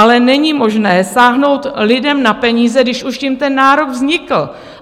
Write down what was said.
Ale není možné sáhnout lidem na peníze, když už tím ten nárok vznikl.